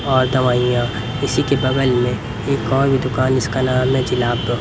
और दवाइयां इसी के बगल में एक और भी दुकान इसका नाम है जिला--